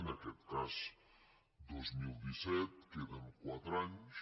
en aquest cas dos mil disset queden quatre anys